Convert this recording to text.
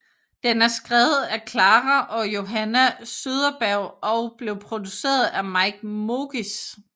Den er skrevet af Klara og Johanna Söderberg og blev produceret af Mike Mogis